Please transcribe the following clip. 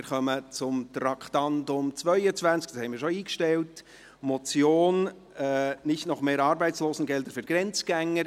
Wir kommen zu Traktandum 22, dies ist schon eingestellt, Motion «Nicht noch mehr Arbeitslosengelder für Grenzgänger».